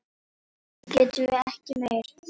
Nú getum við ekki meir.